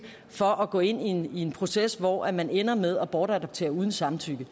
for at gå ind i en proces hvor man ender med at bortadoptere uden samtykke